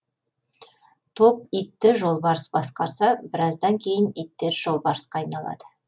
топ итті жолбарыс басқарса біраздан кейін иттер жолбарысқа айналады